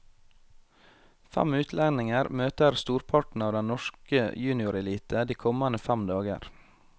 Fem utlendinger møter storparten av den norske juniorelite de kommende fem dager.